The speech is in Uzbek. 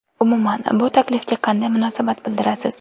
Umuman bu taklifga qanday munosabat bildirasiz?